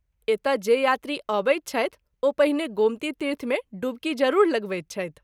एतय जे यात्री आबैत छथि ओ पहिने गोमती तीर्थ मे डुबकी जरूर लगबैत छथि।